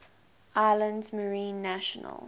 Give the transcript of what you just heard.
islands marine national